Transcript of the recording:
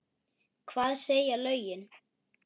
Hvað segja lögin?